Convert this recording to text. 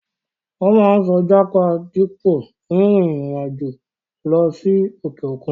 Wọ́n máa ń sọ jápa dípò rin ìrìn àjò lọ sí òkè òkun.